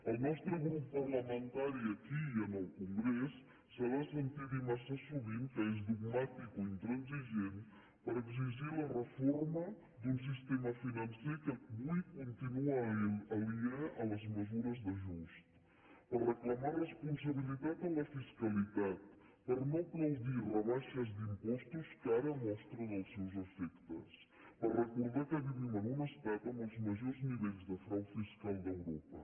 el nostre grup parlamentari aquí i en el congrés s’ha de sentir dir massa sovint que és dogmàtic o intransigent per exigir la reforma d’un sistema financer que avui continua aliè a les mesures d’ajust per reclamar responsabilitat en la fiscalitat per no aplaudir rebaixes d’impostos que ara mostren els seus efectes per recordar que vivim en un estat amb els majors nivells de frau fiscal d’europa